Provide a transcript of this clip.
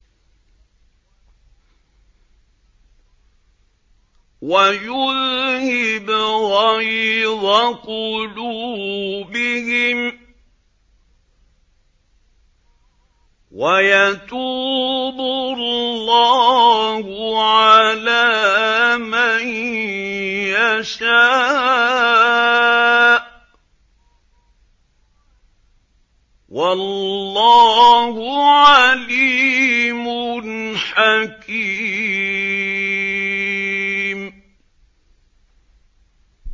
وَيُذْهِبْ غَيْظَ قُلُوبِهِمْ ۗ وَيَتُوبُ اللَّهُ عَلَىٰ مَن يَشَاءُ ۗ وَاللَّهُ عَلِيمٌ حَكِيمٌ